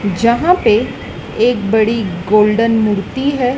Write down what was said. जहां पे एक बड़ी गोल्डन मूर्ति है।